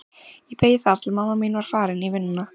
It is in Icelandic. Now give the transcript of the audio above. Ég beið þar til mamma þín var farin í vinnuna.